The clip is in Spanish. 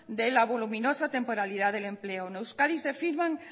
de la voluminosa temporalidad del empleo en euskadi se firman